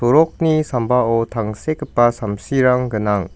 rokni sambao tangsekgipa samsirang gnang.